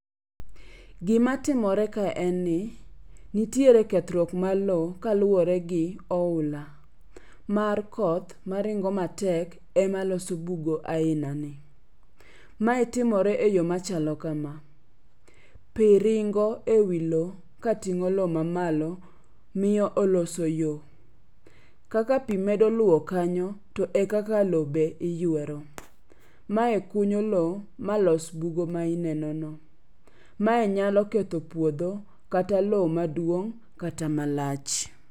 Gima timore ka en ni nitiere kethruok mar lo kaluwore gi oula mar koth maringo matek ema loso bugo aina ni. Mae timore e yo machalo kama, pi ringo ewi lo kating'o lo mamalo miyo oloso yo. Kaka pi medo luwo kanyo to e kaka lo be iywero. Mae kunyo lo malos bugo maineno no, mae nyalo ketho puodho kata lo maduong' kata malach.